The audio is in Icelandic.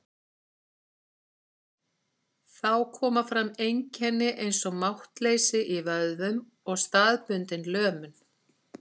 Þá koma fram einkenni eins og máttleysi í vöðvum og staðbundin lömun.